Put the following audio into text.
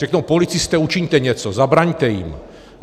Řeknou: policisté, učiňte něco, zabraňte jim.